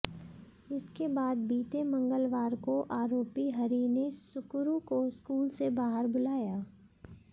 इसके बाद बीते मंगलवार को आरोपी हरी ने सुकुरू को स्कूल से बाहर बुलाया